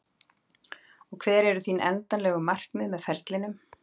Og hver eru þín endanlegu markmið með ferlinum?